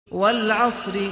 وَالْعَصْرِ